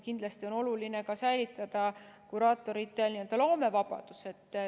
Kindlasti on oluline säilitada kuraatorite loomevabadus.